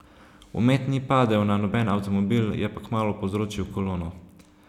Omet ni padel na noben avtomobil, je pa kmalu povzročil kolono.